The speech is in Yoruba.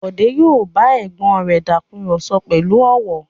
Bọ̀dé yóò bá ẹ̀gbọ́n rẹ̀ takùrọ̀sọ pẹ̀lú ọ̀wọ̀.